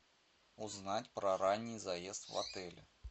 узнать про ранний заезд в отеле